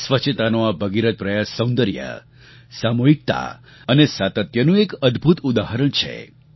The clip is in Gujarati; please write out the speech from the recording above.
સ્વચ્છતાનો આ ભગીરથ પ્રયાસ સૌંદર્ય સામૂહિકતા અને સાતત્યતાનું એક અદ્ભુત ઉદાહરણ છે